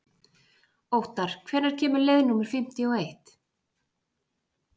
Óttar, hvenær kemur leið númer fimmtíu og eitt?